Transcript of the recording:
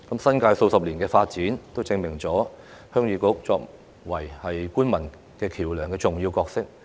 新界數十年的發展證明了鄉議局作為官民橋樑的重要角色。